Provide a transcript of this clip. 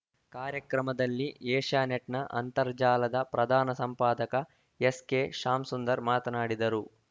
ಕಾರ್ಯಕ್ರಮದಲ್ಲಿ ಏಷ್ಯಾನೆಟ್‌ನ ಅಂತರ್ಜಾಲದ ಪ್ರಧಾನ ಸಂಪಾದಕ ಎಸ್‌ಕೆಶಾಮ್ಸುಂದರ್‌ ಮಾತನಾಡಿದರು